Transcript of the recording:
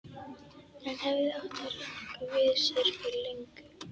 Hann hefði átt að ranka við sér fyrir löngu.